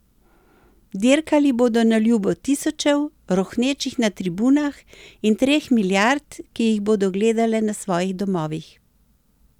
Dirkali bodo na ljubo tisočev, rohnečih na tribunah, in treh milijard, ki jih bodo gledale na svojih domovih.